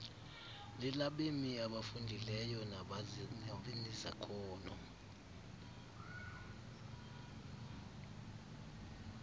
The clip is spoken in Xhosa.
lelabemi abafundileyo nabanezakhono